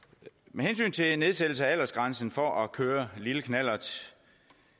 med hensyn til nedsættelse af aldersgrænsen for at køre lille knallert